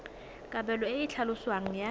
kabelo e e tlhaloswang ya